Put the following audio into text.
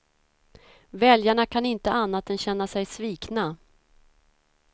Väljarna kan inte annat än känna sig svikna.